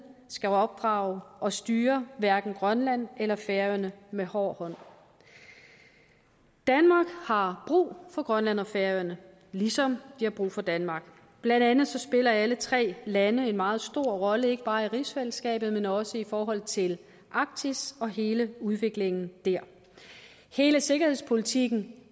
skal opdrage og styre hverken grønland eller færøerne med hård hånd danmark har brug for grønland og færøerne ligesom de har brug for danmark blandt andet spiller alle tre lande en meget stor rolle ikke bare i rigsfællesskabet men også i forhold til arktis og hele udviklingen der hele sikkerhedspolitikken